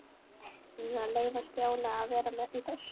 Eigum við að leyfa Stjána að vera með í þessu?